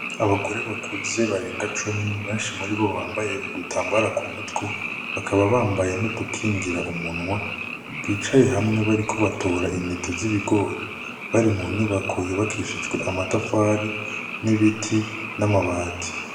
Abagore bakuze barenga cumi, benshi muribo bambaye udutambara k'umutwe, bakaba bambaye n'udukingira umunwa bicaye hamwe bariko batora intete z'ibigor, bari mu nyubako yubakishijwe amatafari n'ibiti n'amabati.